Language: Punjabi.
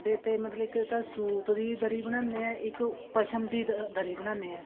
ਅੱਡੇ ਤੇ ਮਤਲਬ ਇੱਕ ਤਾਂ ਸੁਤ ਦੀ ਦਰੀ ਬਣਾਉਦੇ ਹਾਂ ਇੱਕ ਪਸ਼ਮ ਦੀ ਦਰੀ ਬਨਾਨੇ ਐ